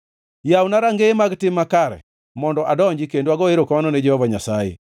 Yawna rangeye mag tim makare; mondo adonji kendo ago erokamano ne Jehova Nyasaye.